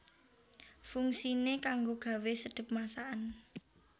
Fungsiné kanggo gawé sedhep masakan